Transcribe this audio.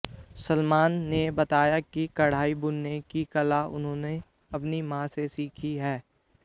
सलमान ने बताया कि कढ़ाई बुनने की कला उन्होंने अपनी मां से सीखी है